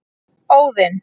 Óðinn